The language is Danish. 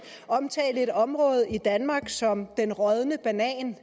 omtale et område i danmark som den rådne banan